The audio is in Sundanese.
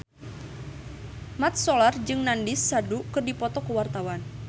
Mat Solar jeung Nandish Sandhu keur dipoto ku wartawan